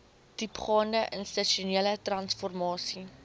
diepgaande institusionele transformasie